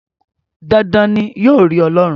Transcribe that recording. Dandan ni, yóò rí Ọlọ́run.